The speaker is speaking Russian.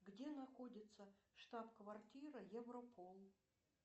где находится штаб квартира европол